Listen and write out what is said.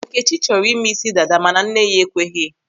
Nkechi chọrọ ịme isi dada mana nne ya ekweghị.